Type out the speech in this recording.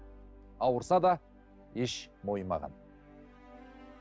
ауырса да еш мойымаған